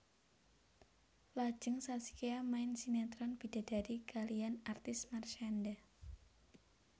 Lajeng Zaskia main sinetron Bidadari kaliyan artis Marshanda